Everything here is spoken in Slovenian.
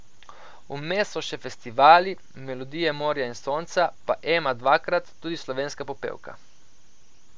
Vmes so še festivali, Melodije morja in sonca pa Ema dvakrat, tudi Slovenska popevka.